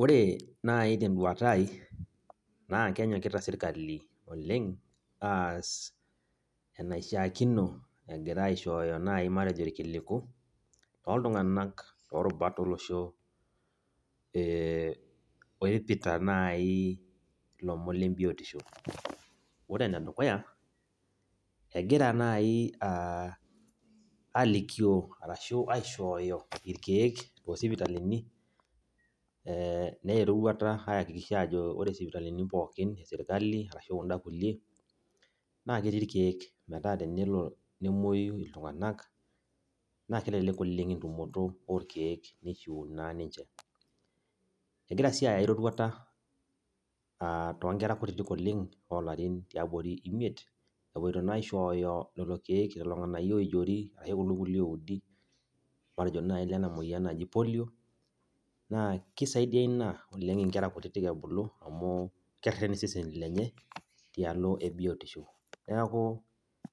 Oore naaji tenduata aai naa kenyokita serkali oleng aas enaishiakino egira aishooyo naaji matejo irkiliku, toltung'anak orubat olosho, oipita naaji, ilomon le biotisho. Oore enedukuya egira naaji alikioo arashu aishooyo irkeeek tosipitalini, neya eroruata aiakikisha aajo oore isipitalini pooki eserkali, naa ketii irkeek metaa tenelo nemueu iltung'anak naa kelelek oleng entumoto orkeek neishiu naa ninche. Egira sii aya aae roruata tonkera kutitik oleng' olarin tiabori ilarin imiet, epoito naa aishooyo lelo keek, lelo ng'anayio oijori, okulo kulie oudi, matejo naaji ilena mueyian naji[cs[polio naa keisaidia iina inkera kutitik ebulu amuu kereen iseseni lenye, tialo ee biotisho. Niaku